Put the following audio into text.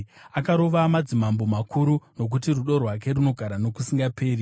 akarova madzimambo makuru, Nokuti rudo rwake runogara nokusingaperi.